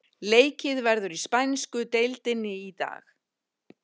Leikið verður í spænsku deildinni í dag.